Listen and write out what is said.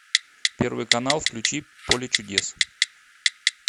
первый канал включи поле чудес